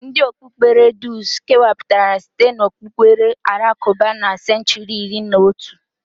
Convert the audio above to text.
Ndi okpukpere drụz kewapuru site n'okpukpere alakụba na senchuri iri na otu.